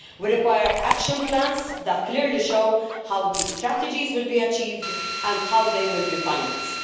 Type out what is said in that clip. We require action plans that clearly show how these strategies will be achieved and how they will be financed.